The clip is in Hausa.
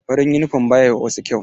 Farin yunifom ba ya ma wasu kyau.